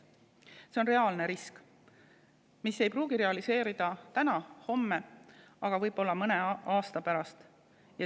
See on reaalne risk, mis ei pruugi realiseeruda täna ega homme, aga võib mõne aasta pärast.